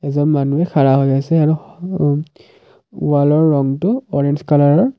এজন মানুহে হৈ আছে আৰু অ অম ৱালৰ ৰঙটো অৰেঞ্জ কলাৰৰ।